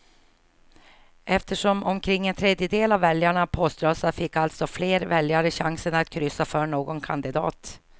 Eftersom omkring en tredjedel av väljarna poströstar fick alltså fler väljare chansen att kryssa för någon kandidat.